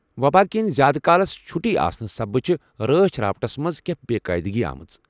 وبا کِنہِ زیٛادٕ کالس چھُٹی آسنہٕ سببہٕ چھِ رٲچھ راوٹھس منٛز كینہہ بےٚ قٲعدٕگی آمٕژ۔